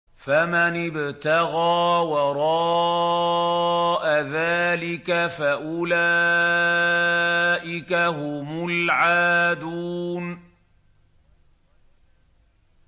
فَمَنِ ابْتَغَىٰ وَرَاءَ ذَٰلِكَ فَأُولَٰئِكَ هُمُ الْعَادُونَ